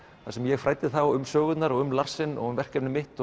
þar sem ég fræddi þá um sögurnar um Larsen og um verkefni mitt